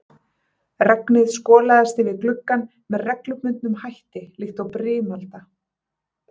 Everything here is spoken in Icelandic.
Regnið skolaðist yfir gluggann með reglubundnum hætti líkt og brimalda.